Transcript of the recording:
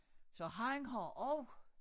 Så han har også